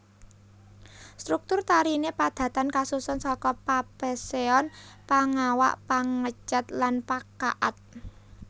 Struktur tarine padatan kasusun saka Papeseon Pangawak Pangecet lan Pakaad